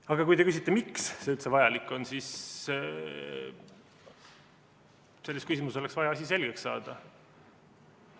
Aga kui te küsite, miks see üldse vajalik on, siis sellepärast, et selles küsimuses oleks vaja asi selgeks saada.